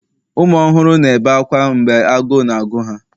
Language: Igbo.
ụmụ ọhụrụ na-ebe akwa mgbe agụụ na-agụ ha